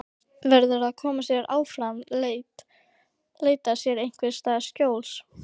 Verður að koma sér áfram, leita sér einhvers staðar skjóls.